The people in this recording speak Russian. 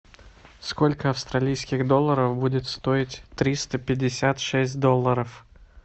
сколько австралийских долларов будет стоить триста пятьдесят шесть долларов